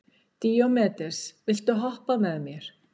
Díómedes, viltu hoppa með mér?